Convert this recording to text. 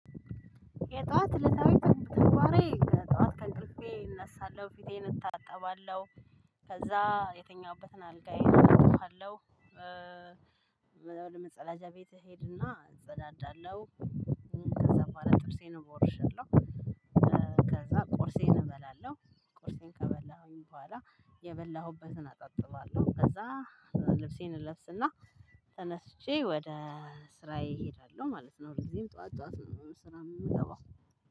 የጧት እለታዊ ተግባሬ በጠዋት ከእንቅልፌ እነሳለሁ፣ ፊቴን እታጠባለሁ። ከዛ የተኛሁበትን አልጋዬን አነጥፋለሁ፣ እበላለሁ፣ ወደ መጸዳጃ ቤት እሄድና እጸዳዳለሁ። ከዛ በኋላ ጥርሴን እቦርሻለው። ከዛ ቁርሴን እበላለሁ፣ ቁርሴን ከበላሁ በኋላ የበላሁበትን አጣጥባለሁ፣ ከዛ ልብሴን እለብስና ተነስቼ ወደ ስራዬ እሄዳለሁ ማለት ነው። ሁልጊዜም ጠዋት ጠዋት ነው ስራ የምገባው